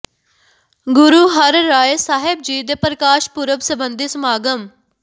ਗੁਰੂ ਹਰਿ ਰਾਇ ਸਾਹਿਬ ਜੀ ਦੇ ਪ੍ਰਕਾਸ਼ ਪੁਰਬ ਸਬੰਧੀ ਸਮਾਗਮ